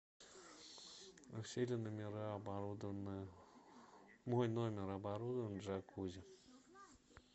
все ли номера оборудованы мой номер оборудован джакузи